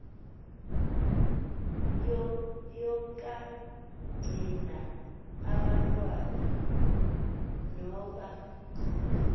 yokagcina abantwana nokuba